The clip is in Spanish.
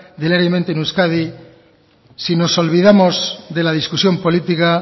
del aire en euskadi si nos olvidamos de la discusión política